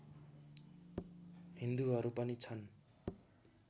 हिन्दुहरू पनि छन्